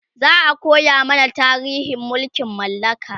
za'a koya mana tarihin mulkin mallaka